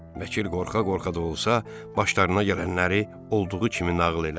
Vəkil qorxa-qorxa da olsa, başlarına gələnləri olduğu kimi nağıl elədi.